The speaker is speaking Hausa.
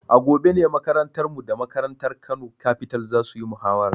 A gobe ne makarantarmu da makarantar Kano Capital za su yi muhawara.